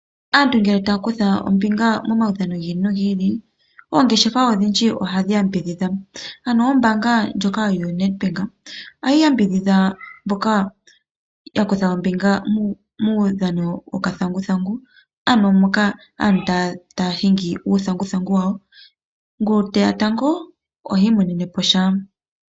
Aantu ngele taya kutha ombinga momaudhano giili no giili oongeshefa odhindji oha dhi yambidhidha ano ombanga ndjoka yoNed Bank oha yi yambidhidha mboka ya kutha ombinga muudhano wokathanguthangu ano moka aantu taya hingi uuthanguthangu wawo ngu teya tango ohi imoneneposha.